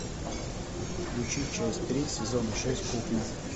включи часть три сезон шесть кухня